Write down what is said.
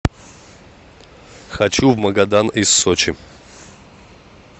хочу в магадан из сочи